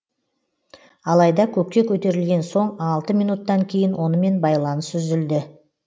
алайда көкке көтерілген соң алты минуттан кейін онымен байланыс үзілді